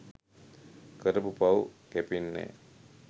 කරපු පව් කැපෙන්නැ‍.